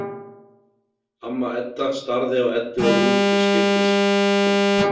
Amma Edda starði á Eddu og Úlf til skiptis.